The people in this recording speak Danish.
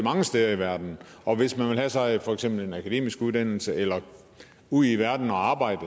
mange steder i verden og hvis man vil have sig for eksempel en akademisk uddannelse eller ud i verden og arbejde